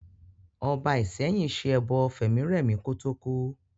Ọba Ìsẹ́yìn ṣe ẹbọ fẹ̀mírẹ̀mí kò tó kú